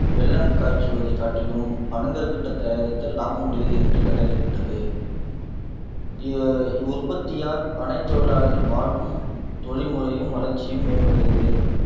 வெல்லம் காய்ச்சுவதைக் காட்டிலும் பனங்கற்கண்டு தயாரித்தல் லாபம் உடையது என்று கண்டறியப்பட்டது இவ்இவ்வுற்பத்தியால் பனைத் தொழிலாளர்கள் வாழ்வும் தொழில் முறையும் வளர்ச்சியும் மேம்பட்டது